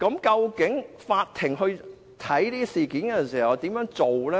究竟法庭審理這些案件時，該怎麼處理？